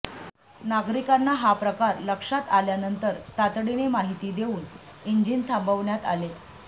नागरिकांना हा प्रकार लक्षात आल्यानंतर तातडीने माहिती देऊन इंजिन थांबवण्यात आले